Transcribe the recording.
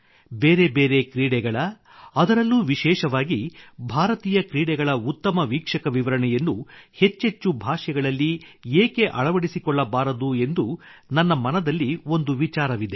ಬೇರೆ ಬೇರೆ ಕ್ರೀಡೆಗಳ ಅದರಲ್ಲೂ ವಿಶೇಷವಾಗಿ ಭಾರತೀಯ ಕ್ರೀಡೆಗಳ ಉತ್ತಮ ವೀಕ್ಷಕ ವಿವರಣೆಯನ್ನು ಹೆಚ್ಚೆಚ್ಚು ಭಾಷೆಗಳಲ್ಲಿ ಏಕೆ ಅಳವಡಿಸಿಕೊಳ್ಳಬಾರದು ಎಂದು ನನ್ನ ಮನದಲ್ಲಿ ಒಂದು ವಿಚಾರವಿದೆ